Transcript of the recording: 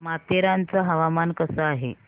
माथेरान चं हवामान कसं आहे